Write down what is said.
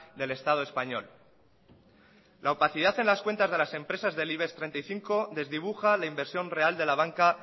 del estado español la opacidad en las cuentas de las empresas del ibex treinta y cinco desdibuja la inversión real de la banca